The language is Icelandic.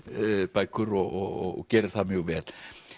bækur og gerir það mjög vel